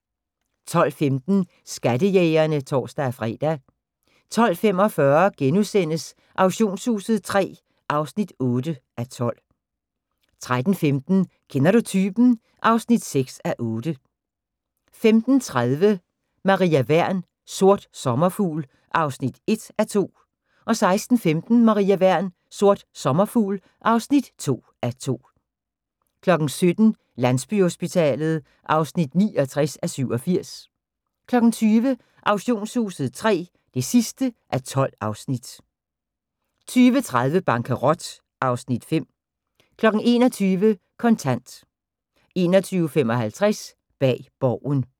12:15: Skattejægerne (tor-fre) 12:45: Auktionshuset III (8:12)* 13:15: Kender du typen? (6:8) 15:30: Maria Wern: Sort sommerfugl (1:2) 16:15: Maria Wern: Sort sommerfugl (2:2) 17:00: Landsbyhospitalet (69:87) 20:00: Auktionshuset III (12:12) 20:30: Bankerot (Afs. 5) 21:00: Kontant 21:55: Bag Borgen